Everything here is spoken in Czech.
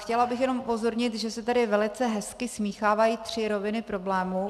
Chtěla bych jenom upozornit, že se tady velice hezky smíchávají tři roviny problémů.